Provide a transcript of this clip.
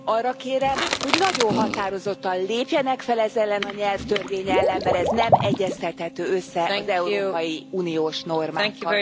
Arra kérem, hogy nagyon határozottan lépjenek fel ez ellen a nyelvtörvény ellen, mert ez nem egyeztethető össze az európai uniós normákkal.